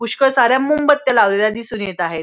पुष्कळ साऱ्या मॉमबत्या लावलेल्या दिसून येत आहेत.